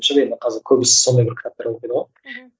шын енді қазір көбісі сондай бір кітаптар оқиды ғой мхм